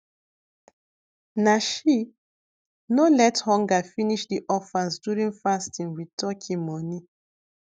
na she no let hunger finish the orphans during fasting with turkey money